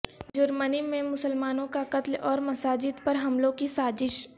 جرمنی میںمسلمانوں کا قتل اور مساجد پرحملوں کی سازش